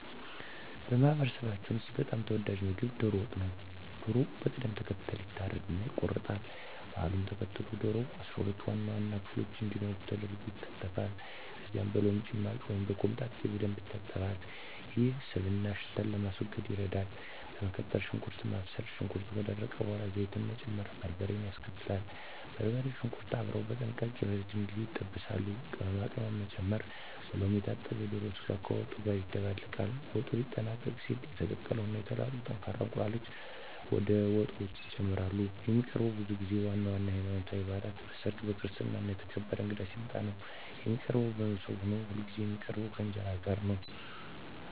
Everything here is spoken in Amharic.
በማህበረሰባችን ውስጥ በጣም ተወዳጁ ምግብ ዶሮ ወጥ ነው። ዶሮው በቅደም ተከተል ይታረድና ይቆረጣል። ባህሉን ተከትሎ ዶሮው 12 ዋና ዋና ክፍሎች እንዲኖሩት ተደርጎ ይከተፋል። ከዚያም በሎሚ ጭማቂ ወይም በኮምጣጤ በደንብ ይታጠባል፤ ይህም ስብንና ሽታን ለማስወገድ ይረዳል። በመቀጠል ሽንኩርት ማብሰል፣ ሽንኩርቱ ከደረቀ በኋላ ዘይት ይጨመርና በርበሬ ይከተላል። በርበሬውና ሽንኩርቱ አብረው በጥንቃቄ ለረጅም ጊዜ ይጠበሳሉ። ቅመማ ቅመም መጨመር፣ በሎሚ የታጠበው የዶሮ ስጋ ከወጡ ጋር ይደባለቃል። ወጡ ሊጠናቀቅ ሲል የተቀቀሉ እና የተላጡ ጠንካራ እንቁላሎች ወደ ወጡ ውስጥ ይጨመራሉ። የሚቀርበውም ብዙ ጊዜ ዋና ዋና የሀይማኖታዊ ባእላት ላይ፣ በሰርግ፣ በክርስትና እና የተከበረ እንግዳ ሲመጣ ነው። የሚቀርበውም በሞሰብ ሆኖ ሁልጊዜ የሚቀርበው ከእንጀራ ጋር ነው።